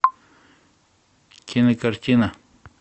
кинокартина